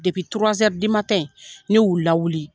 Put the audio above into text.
ne yu lawuli.